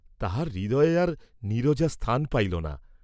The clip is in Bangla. তাঁহার হৃদয়ে আর নীরজা স্থান পাইল না।